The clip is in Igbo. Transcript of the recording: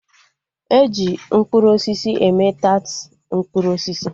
Eji mkpụrụ osisi eme taat mkpụrụ osisi